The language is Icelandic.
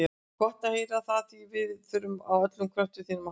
Gott er að heyra það, því við þurfum á öllum kröftum þínum að halda.